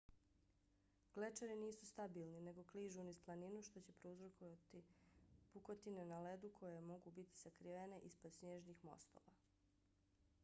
glečeri nisu stabilni nego kližu niz planinu što će prouzročiti pukotine na ledu koje mogu biti sakrivene ispod snježnih mostova